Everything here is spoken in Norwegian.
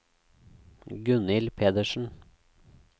Gunnhild Pedersen